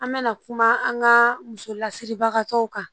An mɛna kuma an ka musolasiribagatɔw kan